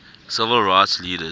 civil rights leaders